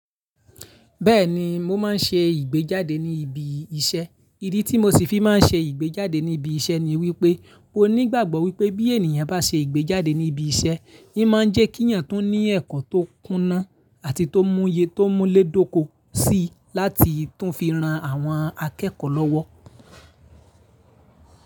Bẹ́ẹ̀ni, mo máa ń ṣe ìgbéjáde ní ibi iṣẹ́. Ìdí tí mo ṣe fi máa ń ṣe ìgbéjáde ní ibi iṣẹ́ ni wípé mó nígbàgbọ́ wípé bí ènìyàn bá ṣe ìgbéjáde ní ibi iṣẹ́, n máa ń jẹ́ kí èyàn tó ní ẹ̀kọ́ tó kúná àti tó múye tó múlẹ̀ dóko si láti tún fi ran àwọn akẹ́kọ̀ọ́ lọ́wọ́.